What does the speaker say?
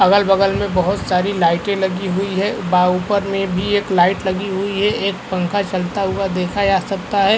अगल बगल में बहोत सारी लाइटे लगी हुई हैं। बा ऊपर में भी एक लाइट लगी हुई है। एक पंखा चलता हुआ देखा जा सकता है।